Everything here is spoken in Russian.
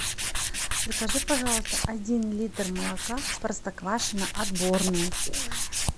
закажи пожалуйста один литр молока простоквашино отборное